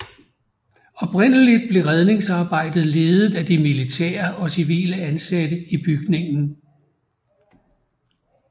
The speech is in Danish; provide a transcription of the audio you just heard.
Oprindeligt blev redningsarbejdet ledet af de militære og civile ansatte i bygningen